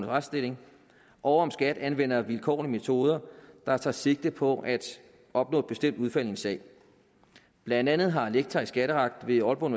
retsstilling og om skat anvender vilkårlige metoder der tager sigte på at opnå et bestemt udfald i en sag blandt andet har lektor i skatteret ved aalborg